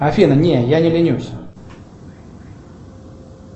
афина не я не ленюсь